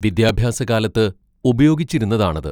വിദ്യാഭ്യാസ കാലത്ത് ഉപയോഗിച്ചിരുന്നതാണത്.